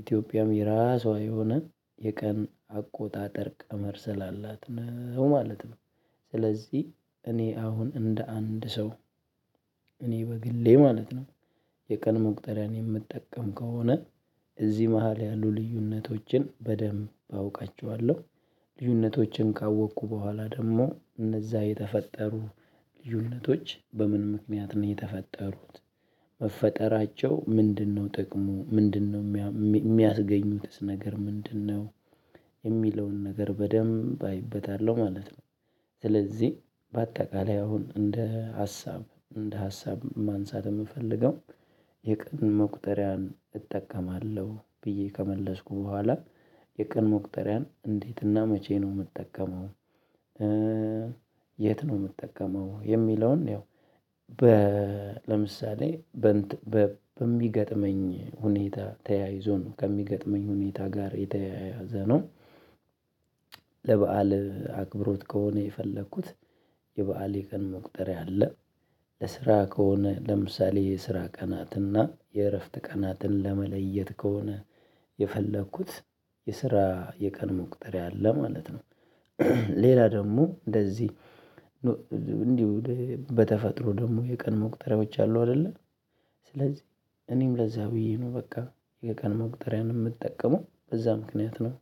ኢትዮጵያም የራሷ የሆነ የቀን አቆጣጠር ቀመር ስላላት ነው ማለት ነው። ስለዚህ እኔ አሁን እንደ አንድ ሰው እኔ በግሌ ማለት ነው የቀን መቁጠሪያን የምጠቀም ከሆነ እዚህ መሃል ያሉ ልዩነቶችን በደንብ አውቃቸዋለሁ። ልዩነቶችን ካወቅኩ በኋላ ደግሞ እነዛ የተፈጠሩ ልዩነቶች በምን ምክንያት ነው የተፈጠሩት? መፈጠራቸው ምንድነው? ጥቅሙ ምንድነው? የሚያስገኙትስ ነገር ምንድነው? የሚለውን ነገር በደንብ አይበታለሁ ማለት ነው። ስለዚህ በአጠቃላይ አሁን እንደ ሀሳብ እንደ ሀሳብ ማንሳት የምፈልገው የቀን መቁጠሪያን እጠቀማለሁ ብዬ ከመለስኩ በኋላ የቀን መቁጠሪያን እንዴትና መቼ ነው የምጠቀመው? የት ነው የምጠቀመው? የሚለውን ያው ለምሳሌ በሚገጥመኝ ሁኔታ ተያይዞ ነው ከሚገጥመኝ ሁኔታ ጋር የተያያዘ ነው። ለበአል አክብሮት ከሆነ የፈለኩት የበአል የቀን መቁጠሪያ አለ። ለስራ ከሆነ ለምሳሌ የስራ ቀናትና የእረፍት ቀናትን ለመለየት ከሆነ የፈለኩት የስራ የቀን መቁጠሪያ አለ ማለት ነው። ሌላ ደግሞ እንደዚህ እንዲሁ በተፈጥሮ ደግሞ የቀን መቁጠሪያዎች አሉ አይደለ ስለዚህ እኔም ለዛ ብዬ ነው በቃ የቀን መቁጠሪያን የምጠቀመው በዛ ምክንያት ነው።